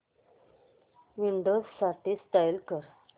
Windows साठी install कर